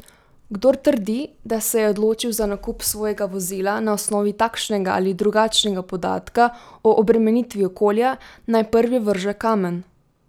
Kdor trdi, da se je odločil za nakup svojega vozila na osnovi takšnega ali drugačnega podatka o obremenitvi okolja, naj prvi vrže kamen!